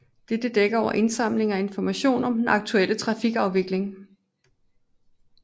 Dette dækker over indsamling af information om den aktuelle trafikafvikling